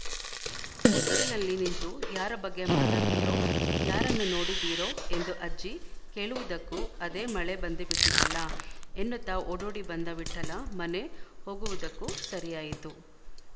ಹೊಸತಿಲಲ್ಲಿ ನಿಂತು ಯಾರ ಬಗ್ಗೆ ಮಾತಾಡ್ತಿರೋ ಯಾರನ್ನು ನೋಡಿದಿರೋ ಎಂದು ಅಜ್ಜಿ ಕೇಳುವುದಕ್ಕೂ ಅದೆ ಮಳೆ ಬಂದೇಬಿಟ್ಟಿತಲ್ಲ ಎನ್ನುತ್ತ ಓಡೋಡಿ ಬಂದ ವಿಠ್ಠಲ ಮನೆ ಹೊಗುವುದಕ್ಕೂ ಸರಿಯಾಯಿತು